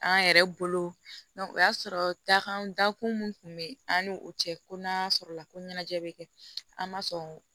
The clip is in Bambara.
An yɛrɛ bolo o y'a sɔrɔ dakan dakun mun kun be yen an ni o cɛ ko n'a sɔrɔla ko ɲɛnajɛ bɛ kɛ an ma sɔn